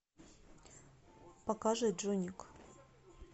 покажи джонник